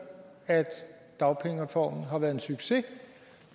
at dagpengereformen har været en succes